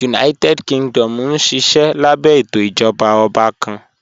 United Kingdom nṣiṣẹ̀ lábẹ̀ ètò ìjọba ọ̀bà kàn.